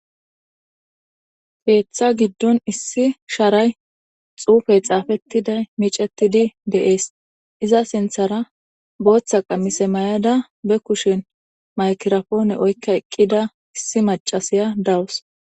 Keththa giddon issi sharay xuufey xafetiday miccetidi de'ees botha qamise mayada ba kushen maygiraphoneoynne oykkada eqidi issi maccisshh de;awus